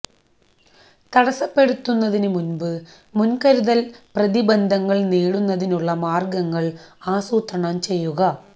തടസ്സപ്പെടുത്തുന്നതിന് മുൻപ് മുൻകരുതൽ പ്രതിബന്ധങ്ങൾ നേടുന്നതിനുള്ള മാർഗ്ഗങ്ങൾ ആസൂത്രണം ചെയ്യുക